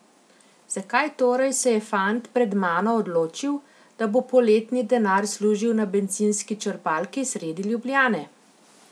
Zakaj torej se je fant pred mano odločil, da bo poletni denar služil na bencinski črpalki sredi Ljubljane?